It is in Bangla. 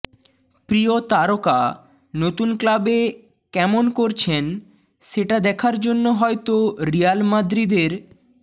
প্রিয় তারকা নতুন ক্লাবে কেমন করছেন সেটা দেখার জন্য হয়তো রিয়াল মাদ্রিদের